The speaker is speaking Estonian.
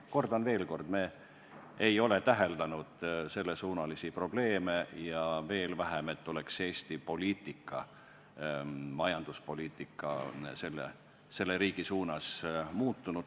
Kordan veel, me ei ole täheldanud selles suunas probleeme ja veel vähem seda, et Eesti poliitika, majanduspoliitika oleks selle riigi suunas muutunud.